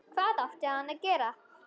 Hvað átti hann að gera?